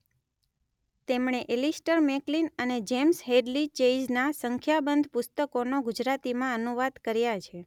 તેમણે Alistair MacLean અને James Hadley ચેઇઝનાં સંખ્યાબંધ પુસ્તકોનો ગુજરાતીમાં અનુવાદ કર્યા છે.